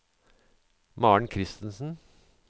Maren Kristensen